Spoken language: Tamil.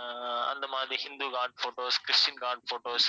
அஹ் அந்த மாதிரி Hindu god photos Christian god photos